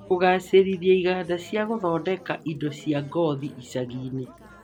Kũgaacĩrithia iganda cia gũthondeka indo cia ngothi icagi-inĩ